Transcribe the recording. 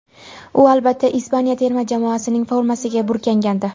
U albatta Ispaniya terma jamoasining formasiga burkangandi.